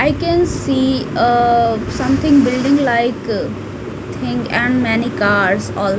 i can see a something building like thing and many cars al.